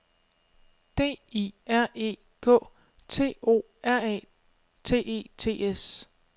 D I R E K T O R A T E T S